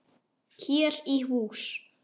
Hér í hús.